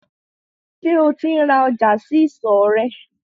Sẹ́ o ti ń ra ọjà sí ìsọ̀ rẹ̀?